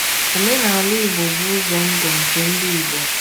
Omenala Igbo bụ ụzọ ndụ nke ndị Igbo